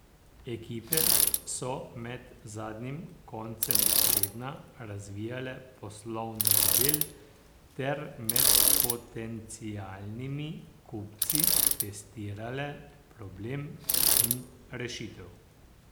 Ekipe so med zadnjim koncem tedna razvijale poslovni model ter med potencialnimi kupci testirale problem in rešitev.